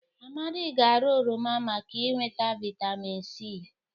Amadị ga-ara oroma maka inweta vịtamịn c.